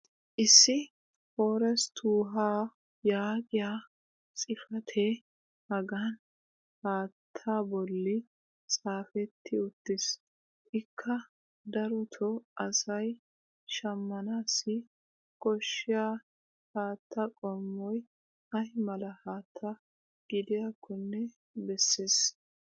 issi "forest wuha" yaagiya xifatee hagan haattaa bolli xaafetti uttiis. ikka darotoo asay shammanaassi koshshiya haattaa qommoy ay mala haatta gidiyaakkonne bessees.